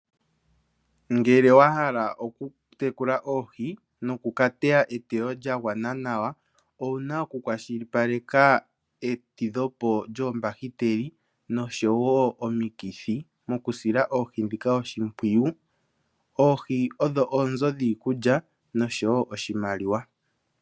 Uuna wa hala okutekula oohi nokukateya eteyo lya gwana nawa owu na okukwashilipaleka etidhopo lyoombahiteli noshowo omikithi mokusila oohi ndhika oshimpwiyu. Oohi odho oonzo dhiikulya noshowo oshimaliwa.